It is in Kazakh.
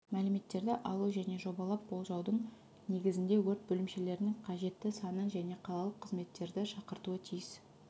мәліметтерді алу және жобалап болжаудың негізінде өрт бөлімшелерінің қажетті санын және қалалық қызметтерді шақыртуы тиіс